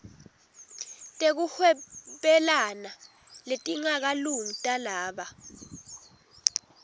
tekuhwebelana letingakalungi talaba